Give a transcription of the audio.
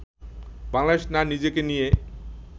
বাংলাদেশ না নিজেকে নিয়ে